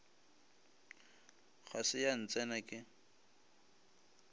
ga se ya ntsena ke